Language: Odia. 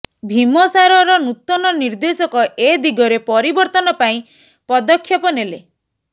ଭୀମସାରର ନୂତନ ନର୍ଦ୍ଦେଶକ ଏଦିଗରେ ପରିବର୍ତ୍ତନ ପାଇଁ ପଦକ୍ଷେପ ନେଲେ